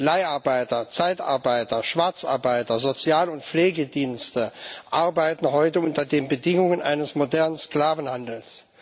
Leiharbeiter, Zeitarbeiter, Schwarzarbeiter, Sozial und Pflegedienste arbeiten heute unter den Bedingungen eines modernen Sklavenhandels.